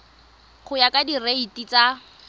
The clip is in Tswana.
go ya ka direiti tsa